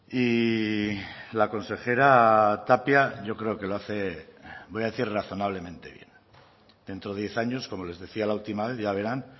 y la consejera tapia yo creo que lo hace voy a decir razonablemente bien dentro de diez años como les decía la última vez ya verán